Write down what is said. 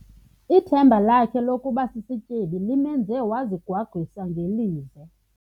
Ithemba lakhe lokuba sisityebi limenze wazigwagwisa ngelize.